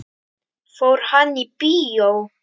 Fór hann í bíó?